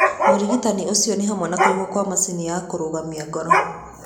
Ũrigitani ũcio nĩ hamwe na kũigwo kwa macini ya kũrũgamia ngoro.